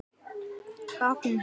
Báknið burt?